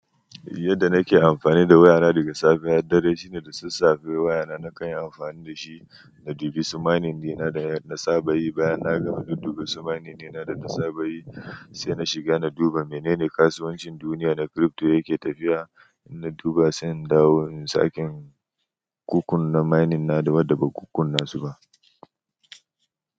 Yadda nake amfani da wayana daga safe har dare, shine da sassafe wayana na kanyi amfani da shi na duba su mining din da na saba yi, bayan na gama na duba su mining dina da na saba yi, sai na shiga na duba menene kasuwancin duniya na crypto yake tafiya na duba sai in dawo in sake, in kukkunna mining na dawada ban kukkunna su ba.